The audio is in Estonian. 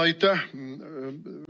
Aitäh!